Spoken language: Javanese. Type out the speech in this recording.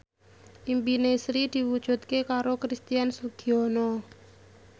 impine Sri diwujudke karo Christian Sugiono